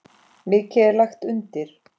Mikið er lagt undir.